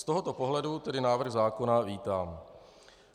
Z tohoto pohledu tedy návrh zákona vítám.